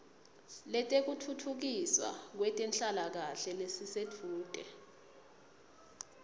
letekutfutfukiswa kwetenhlalakahle lelisedvute